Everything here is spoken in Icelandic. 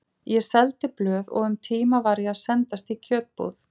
Ég seldi blöð og um tíma var ég að sendast í kjötbúð.